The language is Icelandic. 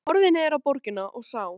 Hann horfði niður á borgina og sá